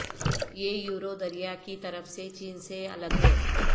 یہ یورو دریا کی طرف سے چین سے الگ ہے